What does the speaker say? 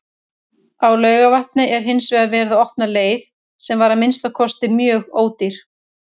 Á Laugarvatni var hinsvegar verið að opna leið, sem var að minnsta kosti mjög ódýr.